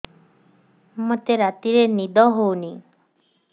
ମୋତେ ରାତିରେ ନିଦ ହେଉନି